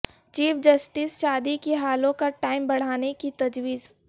chief justice کی شادی ہالوں کا ٹائم بڑھانے کی تجویز